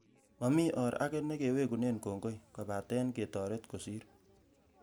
Mami or ake nekewekune kongoi kopate ketoret kosir